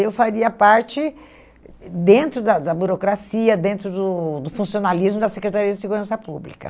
Eu faria parte, dentro da da burocracia, dentro do do funcionalismo da Secretaria de Segurança Pública.